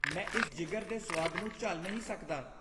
ਮੈਂ ਇਸ ਜਿਗਰ ਦੇ ਸੁਆਦ ਨੂੰ ਝੱਲ ਨਹੀਂ ਸਕਦਾ।